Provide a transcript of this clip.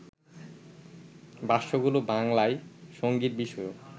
ভাষ্যগুলো বাংলায় সংগীতবিষয়ক